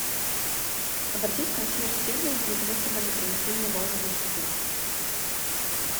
обратись в консьерж сервис для того чтобы они принесли мне вазу для цветов